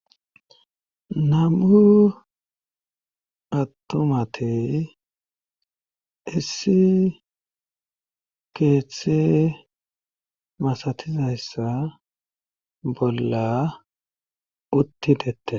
nam'u attumate issi keethe masatizayssa bolla utti detes